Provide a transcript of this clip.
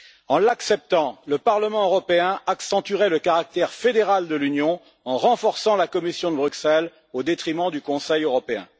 En l'acceptant, le Parlement européen accentuerait le caractère fédéral de l'Union en renforçant la Commission au détriment du Conseil européen.